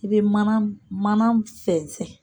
I bɛ mana mana fɛnsɛ.